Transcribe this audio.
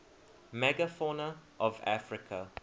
megafauna of africa